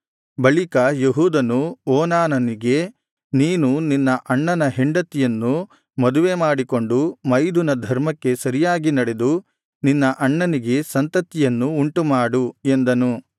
ಬಳಿಕ ಯೆಹೂದನು ಓನಾನನಿಗೆ ನೀನು ನಿನ್ನ ಅಣ್ಣನ ಹೆಂಡತಿಯನ್ನು ಮದುವೆಮಾಡಿಕೊಂಡು ಮೈದುನ ಧರ್ಮಕ್ಕೆ ಸರಿಯಾಗಿ ನಡೆದು ನಿನ್ನ ಅಣ್ಣನಿಗೆ ಸಂತತಿಯನ್ನು ಉಂಟು ಮಾಡು ಎಂದನು